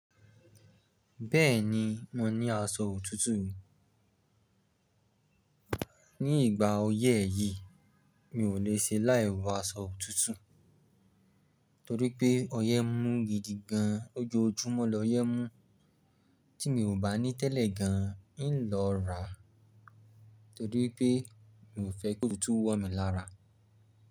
Bẹ́ẹ̀ni mo ní aṣọ òtútù, ní ìgbà oyẹ́ yìí mi ò lè ṣe láì wọ aṣọ òtútù torí pé ọyẹ́ mú gidi gan, lojoojúmọ́ lọ yẹ́ mú tí mi ò bá ní tẹ́lẹ̀ gan n lọ rà torí pé mi ò fẹ́ kòtutú wọ́ mi lára.